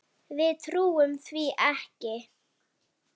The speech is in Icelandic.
Við trúum því ekki.